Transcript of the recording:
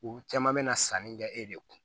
U caman bɛ na sanni kɛ e de kun